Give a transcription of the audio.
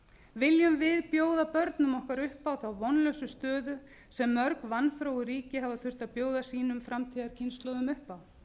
viljum við bjóða börnum okkar upp á þá vonlausu stöðu sem mörg vanþróuð ríki hafa þurft að bjóða sínum framtíðarkynslóðum upp á